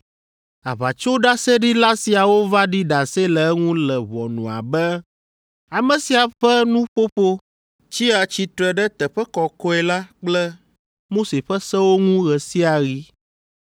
Aʋatsoɖaseɖila siawo va ɖi ɖase le eŋu le ʋɔnua be, “Ame sia ƒe nuƒoƒo tsia tsitre ɖe teƒe kɔkɔe la kple Mose ƒe sewo ŋu ɣe sia ɣi.”